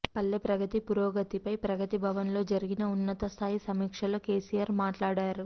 పల్లె ప్రగతి పురోగతిపై ప్రగతిభవన్లో జరిగిన ఉన్నత స్థాయి సమీక్షలో కెసిఆర్ మాట్లాడారు